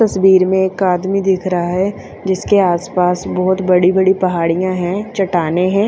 तस्बीर में एक आदमी दिख रहा है जिसके आस पास बोहोत बड़ी बड़ी पहाड़िया है चट्टानें है।